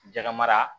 Jaga mara